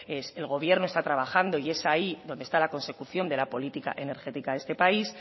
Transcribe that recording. el gobierno está trabajando y es ahí donde está la consecución de la política energética de este país